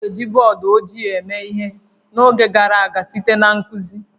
A na-eji bọọdụ ojii eme ihe n'oge gara aga site na nkuzi